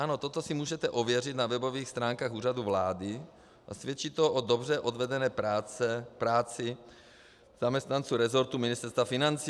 Ano, toto si můžete ověřit na webových stránkách Úřadu vlády, a svědčí to o dobře odvedené práci zaměstnanců resortu Ministerstva financí.